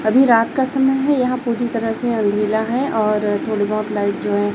अभी रात का समय है यहां पूरी तरह से अंधेला है और थोड़ी बहोत लाइट जो है--